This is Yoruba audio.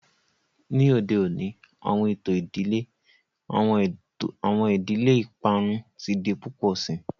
Ni ode oni awọn eto idile, awọn idile iparun ti di pupọ sii.